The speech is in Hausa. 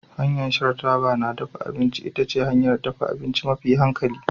Hanyar shan taba na dafa abinci ita ce hanyar dafa abinci mafi hankali